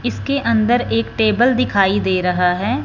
इसके अन्दर एक टेबल दिखाई दे रहा है।